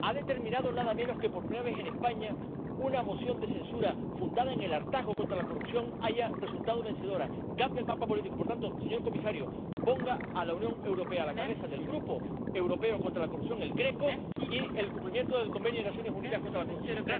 Ha determinado nada menos que, por primera vez en España, una moción de censura fundada en el hartazgo contra la corrupción haya resultado vencedora. Cambia el mapa político. Por tanto, señor comisario, ponga a la Unión Europea a la cabeza del Grupo europeo contra la corrupción, el GRECO, y del cumplimiento de la Convención de las Naciones Unidas contra la Corrupción.